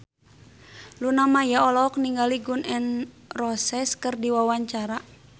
Luna Maya olohok ningali Gun N Roses keur diwawancara